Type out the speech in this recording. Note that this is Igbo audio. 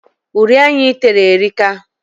Uri anya ị tere erika.